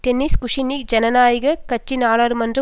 tennis Kucinich ஜனநாயக கட்சி நாடாளுமன்ற